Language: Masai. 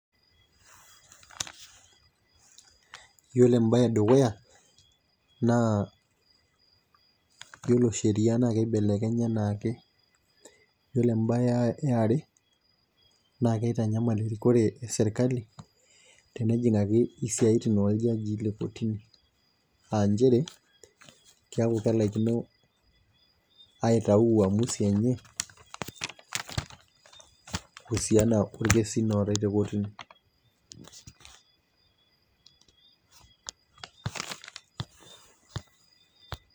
iyiolo ebae edukuya, naa iyiolo sheria naa kibelekenya anaake, iyiolo ebae yiare, naa kitanyamal erikore esirkali tenejing'aki isaitin oljajii le kotini, aa nchere keeku kelaikino aitau maamusi enye kuusiana orkesin ootae te kotini